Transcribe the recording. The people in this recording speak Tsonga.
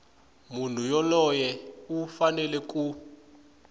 munhu yoloye u fanele ku